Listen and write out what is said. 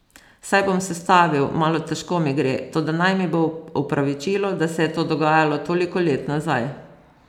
Saj bom sestavil, malo težko mi gre, toda naj mi bo v opravičilo, da se je to dogajalo toliko let nazaj.